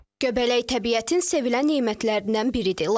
Göbələk təbiətin sevilən nemətlərindən biridir.